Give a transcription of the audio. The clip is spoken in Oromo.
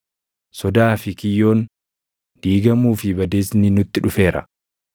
Sodaa fi kiyyoon, diigamuu fi badiisni nutti dhufeera.”